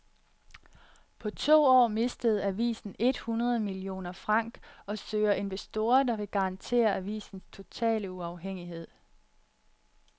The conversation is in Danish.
På to år mistede avisen et hundrede millioner franc og søger investorer, der vil garantere avisens totale uafhængighed.